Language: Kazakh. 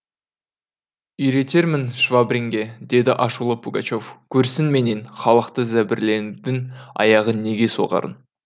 үйретермін швабринге деді ашулы пугачев көрсін менен халықты зәбірлеңдің аяғы неге соғарын